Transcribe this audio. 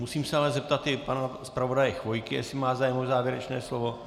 Musím se ale zeptat i pana zpravodaje Chvojky, jestli má zájem o závěrečné slovo.